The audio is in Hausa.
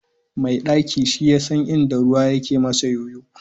Mai ɗaki shiyasan inda yake masa ƴoƴo.